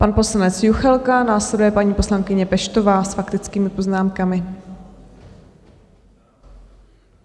Pan poslanec Juchelka, následuje paní poslankyně Peštová s faktickými poznámkami.